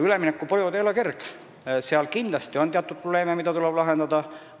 Üleminekuperiood ei ole kerge, seal on kindlasti probleeme, mida tuleb lahendada.